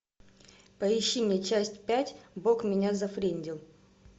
поищи мне часть пять бог меня зафрендил